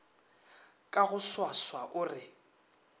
ka go swaswa o re